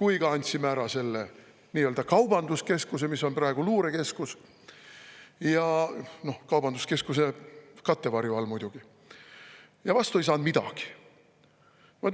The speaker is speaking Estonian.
kui ka selle nii-öelda kaubanduskeskuse, mis on praegu luurekeskus – kaubanduskeskuse kattevarju all muidugi –, aga vastu ei saanud midagi.